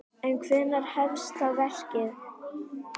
En hvenær hefst þá verkið?